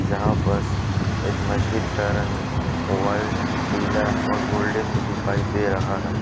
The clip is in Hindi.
जहाँ बस इस मस्जिद का रंग व्हाइट पीला और गोल्डन में दिखाई दे रहा है।